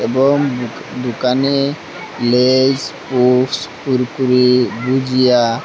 এবং দো দোকানে লেইস পপস কুরকুরে ভুজিয়া--